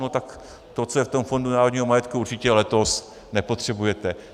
No tak to, co je v tom Fondu národního majetku, určitě letos nepotřebujete.